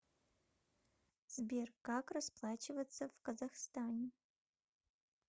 сбер как расплачиваться в казахстане